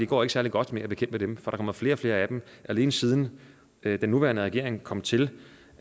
går særlig godt med at bekæmpe det for der kommer flere og flere af dem alene siden den nuværende regering kom til